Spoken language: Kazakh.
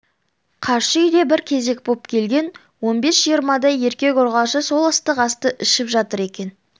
қарсы үйде бір кезек боп келген он бес-жиырмадай еркек-ұрғашы сол ыстық асты ішіп жатыр екен